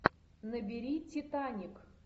набери титаник